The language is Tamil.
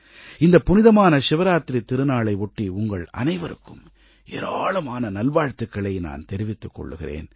இந்தப் புனிதமான சிவராத்திரித் திருநாளை ஒட்டி உங்கள் அனைவருக்கும் ஏராளமான நல்வாழ்த்துக்களை நான் தெரிவித்துக் கொள்கிறேன்